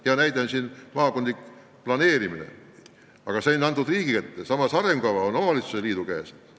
Hea näide on maakondlik planeerimine, mis on antud riigi kätte, samas, arengukava on omavalitsusliidu otsustada.